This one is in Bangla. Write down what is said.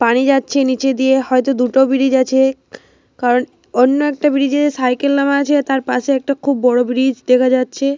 পানি যাচ্ছে নিচে দিয়ে হয়তো। দুটো ব্রিজ আছে। কারণ অন্য একটা ব্রিজে সাইকেল নেওয়া হয়েছে। তার পাশে একটা খুব বড় ব্রিজ দেখা যাচ্ছে।